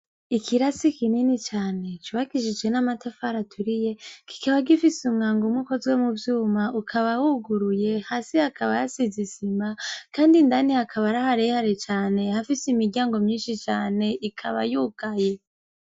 Ikirasi kinini cane cubakishijw' amatafar'aturiye kikaba gifis' umwang' umw' ukoze muvyum' ukaba wuguruye, hasi hakaba has' izisima kand' indani hakab' ari harehare cane, hafis'imiryango myinshi can' ikaba yugaye.